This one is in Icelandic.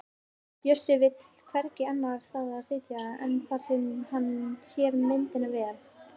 Bjössi vill hvergi annars staðar sitja en þar sem hann sér myndina vel.